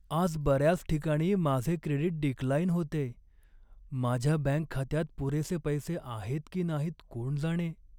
आज बऱ्याच ठिकाणी माझे क्रेडीट डिक्लाइन होतेय. माझ्या बँक खात्यात पुरेसे पैसे आहेत की नाहीत कोण जाणे.